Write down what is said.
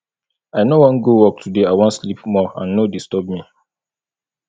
i no wan go work today i wan sleep more and no disturb me